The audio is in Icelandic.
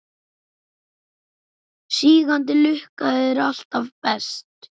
Sígandi lukka er alltaf best.